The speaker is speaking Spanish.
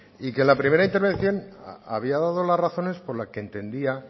y que en la primera intervención había dado la razones por la que entendía